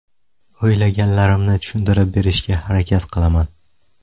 O‘ylaganlarimni tushuntirib berishga harakat qilaman.